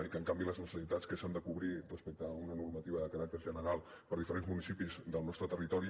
i que en canvi les necessitats que s’han de cobrir respecte a una normativa de caràcter general per diferents municipis del nostre territori